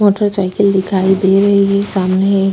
motorcycle दिखाई दे रही है सामने --